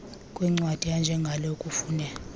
kwencwadi enjengale kufune